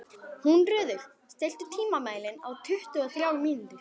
Húnröður, stilltu tímamælinn á tuttugu og þrjár mínútur.